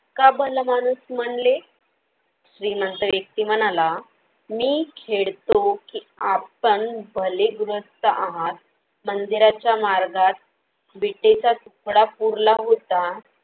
का भला माणूस म्हणले? श्रीमंत व्यक्ती म्हणाला, मी खेळतो की आपण भले गृहस्थ आहात मंदिराच्या मार्गात बीतेचा सुपडा पुरला होता.